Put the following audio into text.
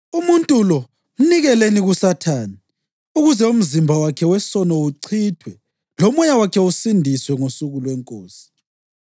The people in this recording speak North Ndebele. umuntu lo mnikeleni kuSathane ukuze umzimba wakhe wesono uchithwe lomoya wakhe usindiswe ngosuku lweNkosi.